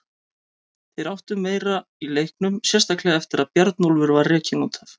Þeir áttu meira í leiknum, sérstaklega eftir að Bjarnólfur var rekinn út af.